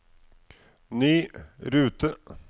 ny rute